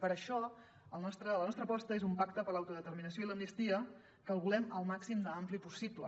per això la nostra aposta és un pacte per l’autodeterminació i l’amnistia que el volem el màxim d’ampli possible